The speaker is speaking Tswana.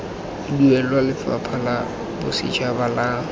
duelwa lefapha la bosetšhaba la